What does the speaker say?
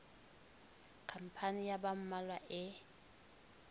khampani ya ba mmalwa e